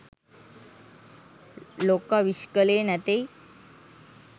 ලොක්ක විශ් කලේ නැතෙයි?